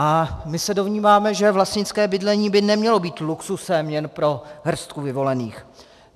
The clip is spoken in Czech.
A my se domníváme, že vlastnické bydlení by nemělo být luxusem jen pro hrstku vyvolených.